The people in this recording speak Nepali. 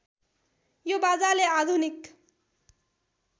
यो बाजाले आधुनिक